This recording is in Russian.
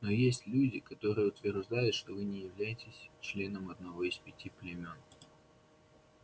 но есть люди которые утверждают что вы не являетесь членом одного из пяти племён